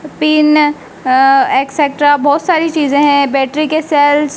pin uh etcetera बहुत सारी चीजें हैं बैटरी के सेल्स --